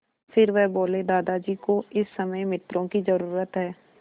फिर वह बोले दादाजी को इस समय मित्रों की ज़रूरत है